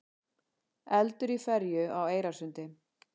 Eldur í ferju á Eyrarsundi